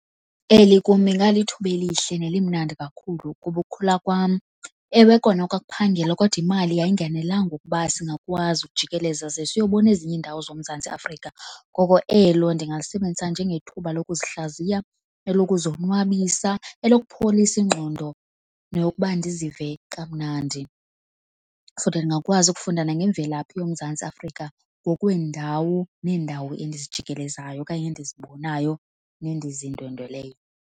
Eli kum ingalithuba elihle nelimnandi kakhulu kuba ukhula kwam, ewe kona kwakuphangelwa, kodwa imali uyayingenelela ukuba singakwazi ukujikeleza ze siyobona ezinye iindawo zoMzantsi Afrika. Ngoko elo ndingalisebenzisa njengethuba lokuzihlaziya, elokuzonwabisa, elokupholisa ingqondo nokuba ndizive kamnandi. Futhi ndingakwazi ukufunda ngemvelaphi yoMzantsi Afrika ngokweendawo neendawo endizijikelezayo okanye endizibonayo nendizindwendweleyo.